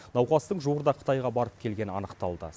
науқастың жуырда қытайға барып келгені анықталды